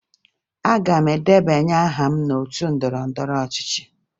Aga m edebanye aha m n'otu ndọrọndọrọ ọchịchị